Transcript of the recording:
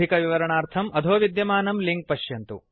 अधिकविवरणार्थं अधो विद्यमानं लिंक् पश्यन्तु